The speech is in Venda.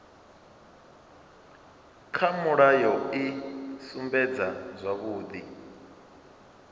kha mulayo i sumbedza zwavhudi